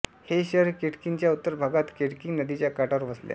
हे शहर केंटकीच्या उत्तर भागात केंटकी नदीच्या काठावर वसले आहे